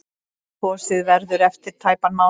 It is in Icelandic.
Kosið verður eftir tæpan mánuð.